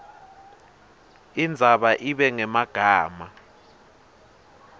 indzaba ibe ngemagama